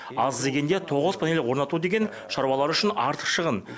аз дегенде тоғыз панель орнату деген шаруалар үшін артық шығын